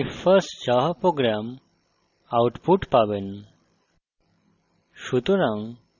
আপনি my first java program! output পাবেন